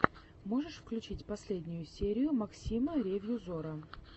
можешь включить последнюю серию максима ревью зора